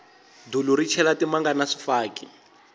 dulu ri chela timanga na swifaki